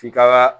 F'i ka